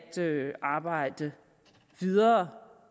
arbejde videre